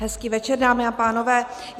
Hezký večer, dámy a pánové.